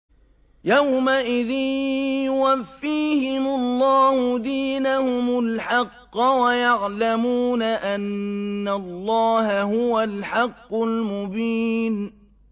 يَوْمَئِذٍ يُوَفِّيهِمُ اللَّهُ دِينَهُمُ الْحَقَّ وَيَعْلَمُونَ أَنَّ اللَّهَ هُوَ الْحَقُّ الْمُبِينُ